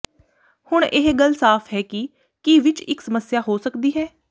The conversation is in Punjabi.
ਹੁਣ ਇਹ ਗੱਲ ਸਾਫ਼ ਹੈ ਕਿ ਕੀ ਵਿੱਚ ਇੱਕ ਸਮੱਸਿਆ ਹੋ ਸਕਦੀ ਹੈ